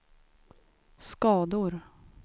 skador